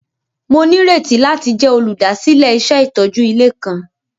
Mo nírètí láti jẹ olúdásílẹ̀ iṣẹ itójú ilé kan.